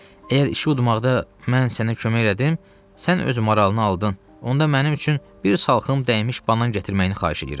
Əgər işi udmaqda mən sənə kömək elədim, sən öz marağını aldın, onda mənim üçün bir salxım dəymiş banan gətirməyini xahiş eləyirəm.